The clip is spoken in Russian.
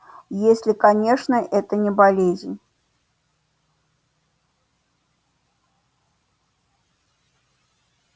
если конечно это не болезнь